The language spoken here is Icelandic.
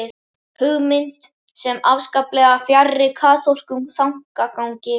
Hugmynd sem er afskaplega fjarri kaþólskum þankagangi.